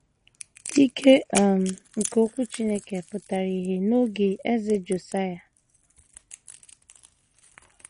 Ike um nke Okwu Chineke pụtara ìhè n’oge Eze Josaịa.